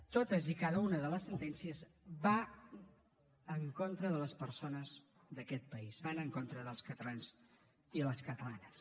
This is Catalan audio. totes i cada una de les sentències van en contra de les persones d’aquest país van en contra dels catalans i les catalanes